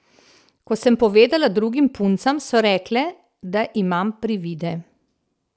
Ko sem povedala drugim puncam, so rekle, da imam privide.